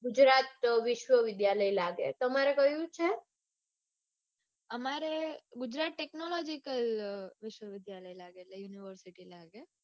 ગુજરાત વિશ્વવિદ્યાલય લાગે. તમારે કયું છે? અમારે ગુજરાત technological અઅઅ વિશ્વવિદ્યાલય લાગે.